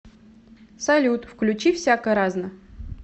салют включи всяко разно